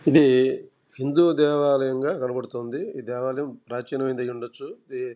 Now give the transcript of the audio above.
ఇది హిందూ దేవాలయంగా కనబడుతుంది ఈ దేవాలయం ప్రాచీనమైందైయుండొచు --